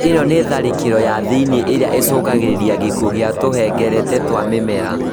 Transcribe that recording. ĩno nĩ tharĩkĩro ya thĩinĩ ĩrĩa ĩcũngagĩrĩria gĩkuo gĩa tũhengereta twa mĩmera